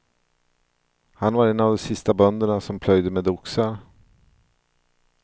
Han var en av de sista bönderna som plöjde med oxar.